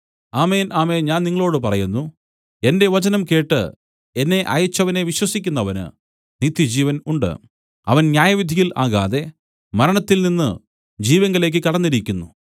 ആമേൻ ആമേൻ ഞാൻ നിങ്ങളോടു പറയുന്നു എന്റെ വചനം കേട്ട് എന്നെ അയച്ചവനെ വിശ്വസിക്കുന്നവന് നിത്യജീവൻ ഉണ്ട് അവൻ ന്യായവിധിയിൽ ആകാതെ മരണത്തിൽനിന്നു ജീവങ്കലേക്ക് കടന്നിരിക്കുന്നു